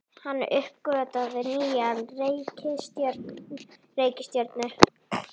Hann uppgötvaði nýja reikistjörnu!